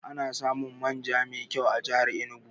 Ana samun man ja mai kyau a jihar Enugu